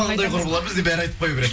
қандай құрбылар бізде бәрі айтып қоя береді